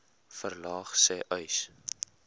verlaag sê uys